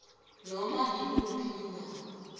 noma iluphi undaba